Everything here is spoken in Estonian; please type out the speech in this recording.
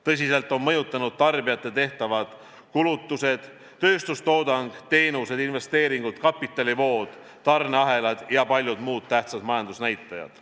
Tõsiselt on mõjutatud tarbijate tehtavad kulutused, tööstustoodang, teenused, investeeringud, kapitalivood, tarneahelad ja paljud muud tähtsad majandusnäitajad.